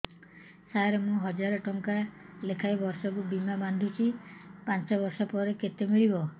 ସାର ମୁଁ ହଜାରେ ଟଂକା ଲେଖାଏଁ ବର୍ଷକୁ ବୀମା ବାଂଧୁଛି ପାଞ୍ଚ ବର୍ଷ ପରେ କେତେ ମିଳିବ